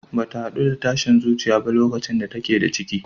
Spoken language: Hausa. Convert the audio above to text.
Bata haɗu da tashin zuciya ba lokacin da take da ciki.